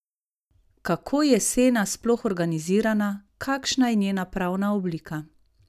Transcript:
Kako je Sena sploh organizirana, kakšna je njena pravna oblika?